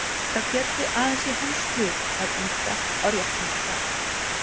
Það félli aðeins í hans hlut að ýta á réttan stað.